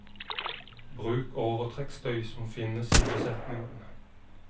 Bruk overtrekkstøy som finnes i besetningen.